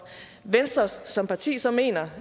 venstre som parti så mener